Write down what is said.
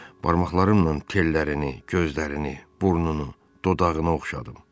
Barmaqlarımnan çillərini, gözlərini, burnunu, dodağını oxşadım.